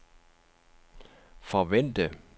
forvente